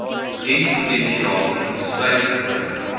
dienspotensiaal insluit nodig